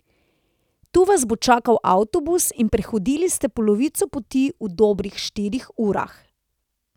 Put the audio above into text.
Tu vas bo čakal avtobus in prehodili ste polovico poti v dobrih štirih urah.